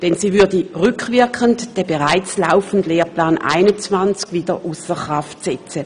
Denn sie würde rückwirkend den bereits laufenden Lehrplan 21 wieder ausser Kraft setzen.